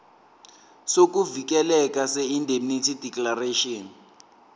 sokuvikeleka seindemnity declaration